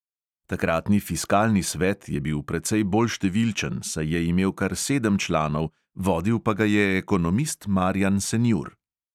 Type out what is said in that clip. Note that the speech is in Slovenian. Takratni fiskalni svet je bil precej bolj številčen, saj je imel kar sedem članov, vodil pa ga je ekonomist marjan senjur.